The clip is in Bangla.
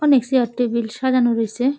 অনেক চেয়ার টেবিল সাজানো রয়েছে ।